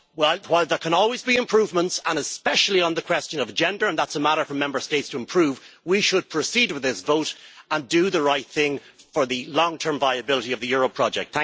While there can always be improvements, and especially on the question of agenda and that is a matter for Member States to improve we should proceed with this vote and do the right thing for the long term viability of the euro project.